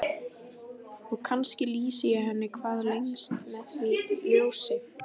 Og kannski lýsi ég henni hvað lengst með því ljósi.